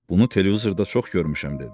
Bunu televizorda çox görmüşəm, dedi.